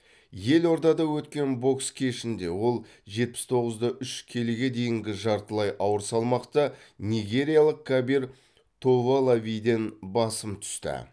елордада өткен бокс кешінде ол жетпіс тоғыз да үш келіге дейінгі жартылай ауыр салмақта нигериялық кабир товолавиден басым түсті